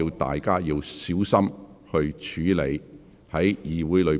大家應小心處理議會內的事宜。